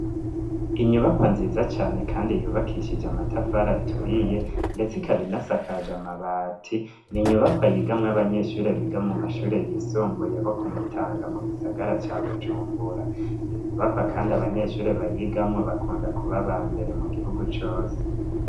Inyubakwa nziza cane kandi yubakishije amatafari aturiye ndetse ikaba inasakaje amabati n'inyubakwa yigamwo abanyeshure biga mu mashure yisumbuye bo Kumutanga mu gisagara ca Bujumbura iyo nyubakwa kandi abanyeshuri bayigamwo bakunda kuba aba mbere mu gihugu cose